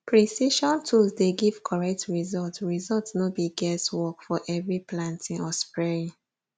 precision tools dey give correct result result no be guess work for every planting or spraying